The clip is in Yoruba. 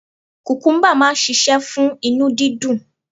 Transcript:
Kukumuba máa ń ṣíṣe fún inú dídùn.